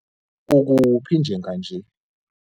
Ukuphi njenganje?